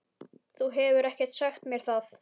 Þú hefur ekkert sagt mér það!